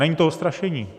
Není to strašení.